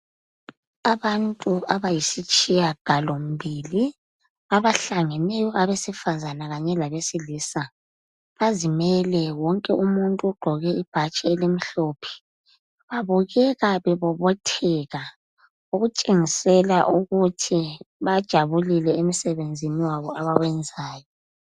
Abantu abayisitshiyagalombili abahlangeneyo abesifazana kanye labesilisa bazimele wonke umuntu ugqoke ibhatshi elimhlophe babukeka bebobotheka okutshengisela ukuthi bajabulile emsebenzini wabo abawenzayo.